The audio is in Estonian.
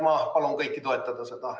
Ma palun kõiki seda toetada.